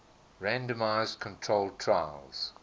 randomized controlled trials